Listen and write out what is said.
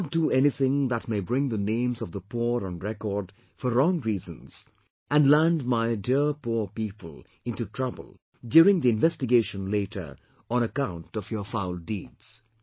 Do not do anything that may bring the names of the poor on record for wrong reasons and land my dear poor people into trouble during the investigation later on account of your foul deeds